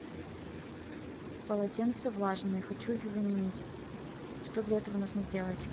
полотенца влажные хочу их заменить что для этого нужно сделать